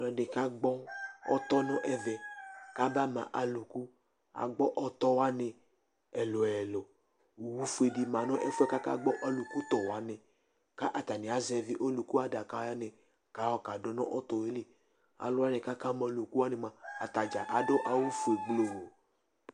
Ɔlɔdi ka gbɔ ɔtɔ nu ɛvɛ ka ma ba ma alu ku agbɔ ɔtɔwani ɛlu ɛluOwu fue di ma nu ɛfuɛ kakagbɔ ɔluku tɔ wani ka atani azɛvi oluku adaka wani ka ka du nu ɔtɔ yɛ li Alu wani ka ka ma ɔluku wani mua, atadza adu awu fue gbloo